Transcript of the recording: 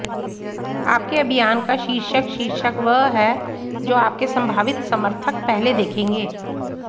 आपके अभियान का शीर्षक शीर्षक वह है जो आपके संभावित समर्थक पहले देखेंगे